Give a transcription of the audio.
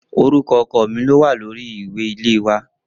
Orúkọ ọkọ mi lówà lórí ìwé ilẹ̀ ilé náà